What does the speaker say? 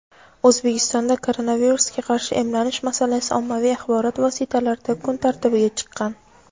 O‘zbekistonda koronavirusga qarshi emlanish masalasi ommaviy axborot vositalarida kun tartibiga chiqqan.